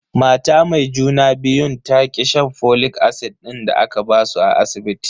Mata mai juna biyun ta ki shan folic acid din da aka basu a asibiti.